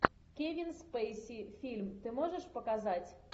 кевин спейси фильм ты можешь показать